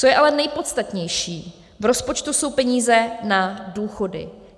Co je ale nejpodstatnější, v rozpočtu jsou peníze na důchody.